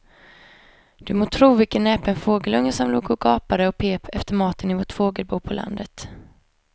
Du må tro vilken näpen fågelunge som låg och gapade och pep efter mat i vårt fågelbo på landet.